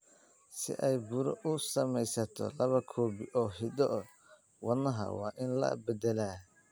Si ay buro u samaysato, laba koobi oo hiddo-wadaha waa in la beddelaa.